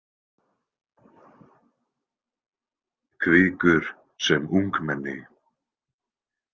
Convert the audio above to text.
Hvikur sem ungmenni.